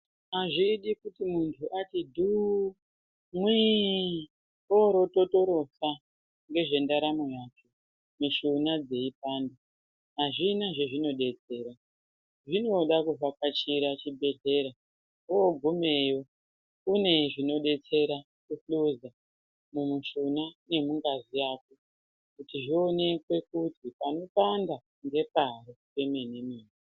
Azvidi kuti muntu ati dhuu, mwii oro ototorosa ngezvendaramo yake mishuna dzeipanda . Azvina zvezvinodetsera, zvinoda kuvhakachira chibhedhlera, woogumeyo kune zvinodetsera kuhluza mumushuna nemungazi yako kuti zvionekwe kuti panopanda ngepari pemenemene.